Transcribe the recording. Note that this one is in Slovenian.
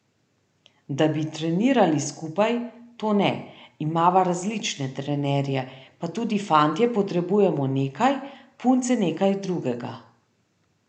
Da bi trenirali skupaj, to ne, imava različne trenerje, pa tudi fantje potrebujemo nekaj, punce nekaj drugega.